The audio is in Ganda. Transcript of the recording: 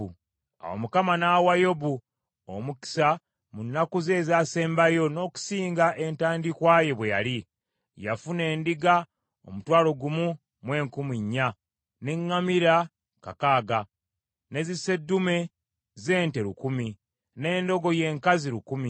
Awo Mukama n’awa Yobu omukisa mu nnaku ze ezaasembayo n’okusinga entandikwa ye bwe yali: yafuna endiga omutwalo gumu mu enkumi nnya, n’eŋŋamira kakaaga, ne ziseddume z’ente lukumi, n’endogoyi enkazi lukumi.